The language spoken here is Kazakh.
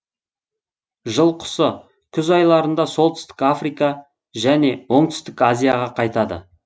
жыл құсы күз айларында солтүстік африка жөне оңтүстік азияға қайтады